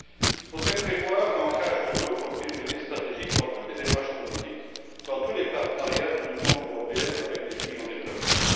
Il faudrait prévoir l'ancrage de l'eau comme priorité stratégique dans toutes les démarches politiques, dans tous les partenariats de l'Union européenne avec les pays en développement.